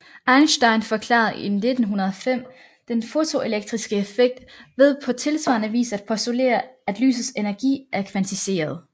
Einstein forklarede i 1905 den fotoelektriske effekt ved på tilsvarende vis at postulere at lysets energi er kvantiseret